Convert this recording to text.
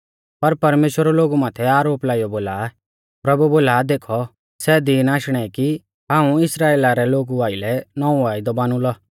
पर परमेश्‍वर लोगु माथै आरोप लाइयौ बोला प्रभु बोला देखौ सै दिन आशणै कि हाऊं इस्राइला रै लोगु आइलै नौंवौ वायदौ बानुलौ